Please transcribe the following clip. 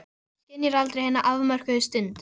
Allir eiga helst að vera þvengmjóir eins og fyrirsætur.